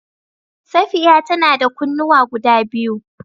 Safiya ta na da kunnuwa guda biyu.